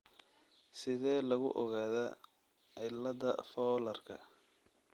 Sidee lagu ogaadaa cilada fowlarka?